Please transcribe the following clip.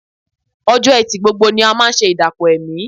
Ọjọ́ Ẹtì gbogbo ni a máa ṣe ìdàpọ̀ ẹ̀mí